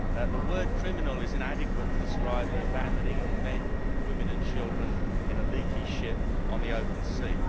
The word criminal' is inadequate to describe the abandoning of men, women and children in a leaky ship on the open sea.